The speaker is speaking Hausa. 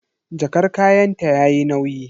Jakar kayanta yayi nauyi.